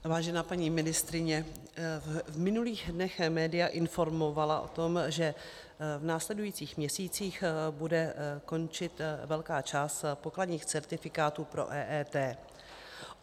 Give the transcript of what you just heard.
Vážená paní ministryně, v minulých dnech média informovala o tom, že v následujících měsících bude končit velká část pokladních certifikátů pro EET.